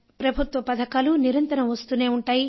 ప్రభుత్వ పథకాలు నిరంతరం వస్తూనే ఉంటాయి